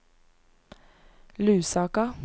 Lusaka